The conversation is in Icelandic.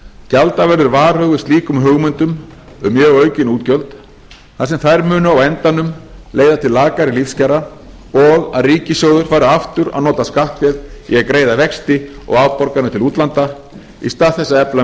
gjalda verður varhug við slíkum hugmyndum um mjög aukin útgjöld þar sem þær munu á endanum leiða til lakari lífskjara og að ríkissjóður fari aftur að nota skattféð í að greiða vexti og afborganir til útlanda í stað þess að efla